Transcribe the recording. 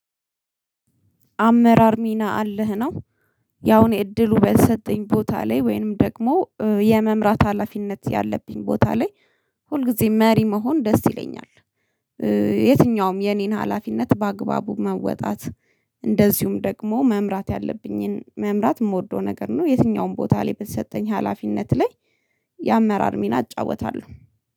አመራር ሚና አለህ ነው? ያው የእድሉ በተሰጠኝ ቦታ ላይ ወይም ደግሞ የመምራት ሀላፊነት ያለብኝ ቦታ ላይ ሁልጊዜ መሪ መሆን ደስ ይለኛል። የትኛውም የኔን ሀላፊነት በአግባቡ መወጣት። እንደዚሁም ደግሞ መምራት ያለብኝን መምራት የምወደው ነገር ነው የትኛውም ቦታ ላይ በተሰጠኝ ሀላፊነት ላይ። የአመራር ሚና እጫወታለሁ